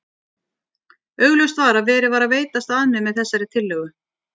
Augljóst var að verið var að veitast að mér með þessari tillögu.